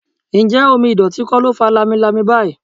Ǹjẹ́ omi ìdọ̀tí kò ló fa lamilami báyìí?